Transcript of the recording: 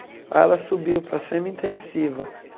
Aí ela subiu para a semi-intensiva.